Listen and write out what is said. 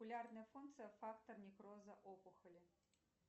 популярная функция фактор некроза опухоли